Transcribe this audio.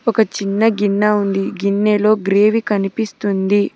ఒక చిన్న గిన్నె ఉంది గిన్నెలో గ్రేవి కనిపిస్తుంది.